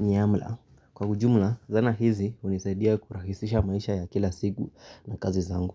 nyamla. Kwa ujumla, zana hizi unisaidia kurahisisha maisha ya kila siku na kazi zangu.